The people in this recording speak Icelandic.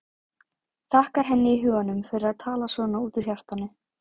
Þakkar henni í huganum fyrir að tala svona út úr hjartanu.